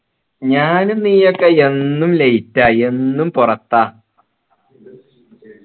ഞാനും നീയൊക്കെ എന്നും late എന്നും പുറത്ത